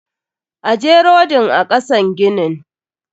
Ajje rodin a kasan ginin.